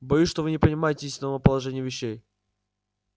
боюсь что вы не понимаете истинного положения вещей